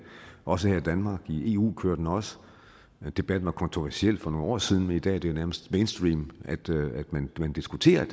også her i danmark og i eu kører den også debatten var kontroversiel for nogle år siden men i dag er det nærmest mainstream at man diskuterer